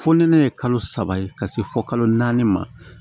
Fo ni ne ye kalo saba ka se fɔ kalo naani ma